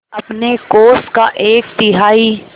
अपने कोष का एक तिहाई